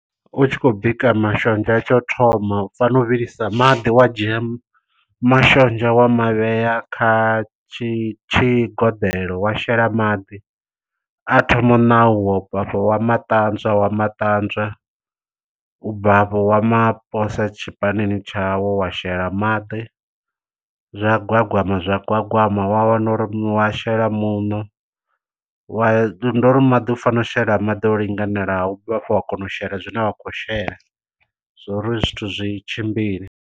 U tshi khou bika mashonzha tsha u thoma u fanela u vhilisa maḓi wa dzhia mashonzha wa mavhea kha tshi tshigoḓelo wa shela maḓi, a thoma u ṋauwa u bvafho wa ma ṱanzwa wa ma ṱanzwa u bva hafho wa mashela tshipanini tshau wa shela maḓi zwa gwagwama zwa gwagwama wa wana uri wa shela muṋo wa ndo ri maḓi u fanela u shela maḓi o linganelaho ubva hafho wa kona u shela zwine wa khou shela zwo uri zwithu zwi tshimbile.